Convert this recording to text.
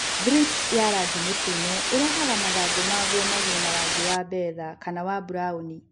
Thrips ya rangi mũtune ĩrehaga mathangũ maguo magĩe na rangi wa betha kana wa burauni.